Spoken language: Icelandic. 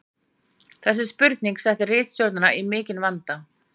Þessi spurning setti ritstjórnina í mikinn vanda.